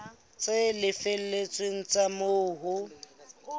tse felletseng tsa moo ho